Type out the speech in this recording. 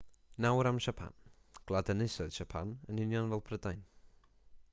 nawr am siapan gwlad ynys oedd siapan yn union fel prydain